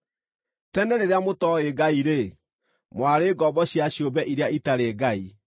Tene rĩrĩa mũtooĩ Ngai-rĩ, mwarĩ ngombo cia ciũmbe iria itarĩ ngai.